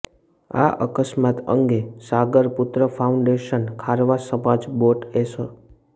આ અકસ્માત અંગે સાગરપૂત્ર ફાઉન્ડેશન ખારવા સમાજ બોટ એસો